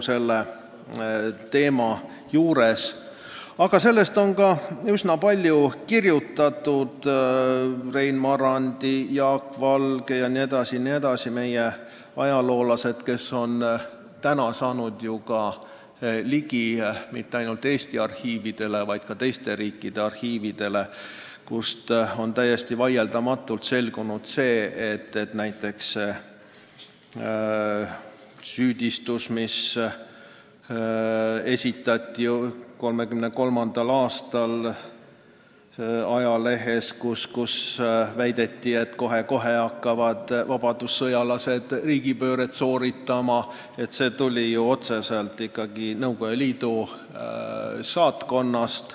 Samas on sellest üsna palju kirjutatud: Rein Marandi, Jaak Valge jt ajaloolased on saanud ligi mitte ainult Eesti arhiividele, vaid ka teiste riikide arhiividele, kust on täiesti vaieldamatult selgunud, et näiteks süüdistus, mis esitati 1933. aastal ajalehes, väites, et kohe-kohe hakkavad vabadussõjalased riigipööret sooritama, tuli otseselt Nõukogude Liidu saatkonnast.